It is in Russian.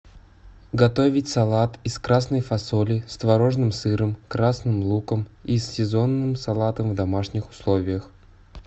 готовить салат из красной фасоли с творожным сыром красным луком и сезонным салатом в домашних условиях